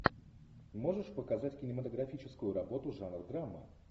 можешь показать кинематографическую работу жанр драма